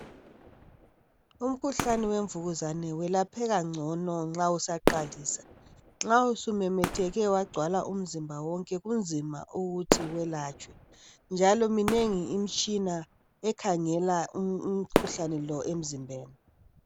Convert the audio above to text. Umkhuhlane wemvukuzane welapheka ngcono nxa usaqalisa nxa usumemetheke wagcwala umzimba wonke unzima ukuthi welatshwe njalo minengi imitshina ekhangela umkhuhlani lo emzimbeni.